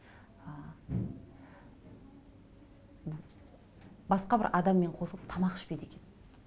басқа бір адаммен қосылып тамақ ішпейді екен